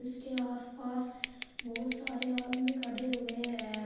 इसके आस पास बहुत सारे आदमी खड़े हुए हैं।